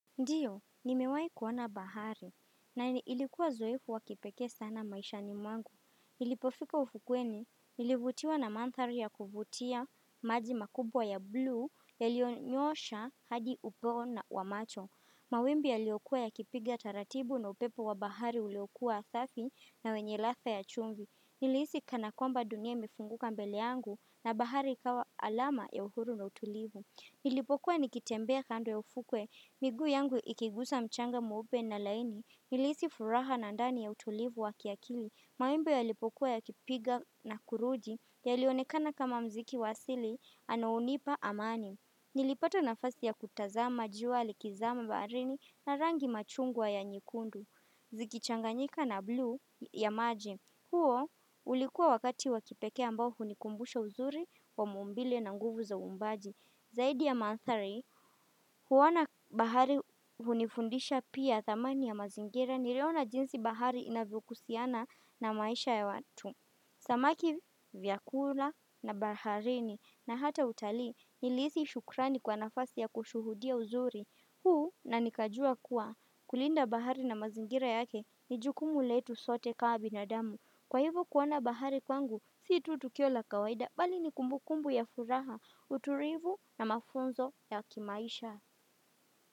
Ndiyo, nimewai kuona bahari, na ilikuwa uzoefu wakipekee sana maishani mwangu. Nilipofika ufukweni, nilivutiwa na mandhari ya kuvutia, maji makubwa ya bluu, yaliyonyoosha hadi upeo na wa macho. Mawimbi yaliokua yakipiga taratibu na upepo wa bahari uliokua safi na wenye ladha ya chumvi. Nilihisi kana kwamba dunia imefunguka mbele yangu na bahari ikawa alama ya uhuru na utulivu. Nilipokuwa nikitembea kando ya ufukwe, migu yangu ikigusa mchanga mweupe na laini, nilihisi furaha na ndani ya utulivu wa kiakili, mawimbi yalipokuwa yakipiga na kurudi, yailionekana kama mziki wa asili, anaonipa amani. Nilipata nafasi ya kutazama, jua likizama baharini na rangi machungwa ya nyekundu, zikichanganyika na bluu ya maji. Huo ulikuwa wakati wakipekee ambao hunikumbusha uzuri wa maumbile na nguvu za umbaji. Zaidi ya manthari, huona bahari hunifundisha pia thamani ya mazingira niliona jinsi bahari inavyogusiana na maisha ya watu. Samaki, vyakula na baharini na hata utalii nilihisi shukrani kwa nafasi ya kushuhudia uzuri. Huu na nikajua kuwa kulinda bahari na mazingira yake ni jukumu letu sote kawa binadamu. Kwa hivo kuona bahari kwangu, si tu tukio la kawaida bali ni kumbu kumbu ya furaha, utulivu na mafunzo ya kimaisha.